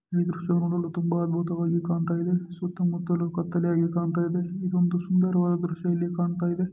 ಇದು ದೃಶ್ಯವು ನೋಡಲು ತುಂಬಾ ಅದ್ಭುತವಾಗಿ ಕಾಣ್ತಾ ಇದೆ. ಸುತ್ತಮುತ್ತಲು ಕತ್ತಲೆಯಾಗಿ ಕಾಣ್ತಾ ಇದೆ. ಇದೊಂದು ಸುಂದರವಾದ ದೃಶ್ಯ ಇಲ್ಲಿ ಕಾಣ್ತಾ ಇದೆ.